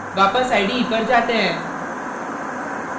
वापस ide पर जाते हैं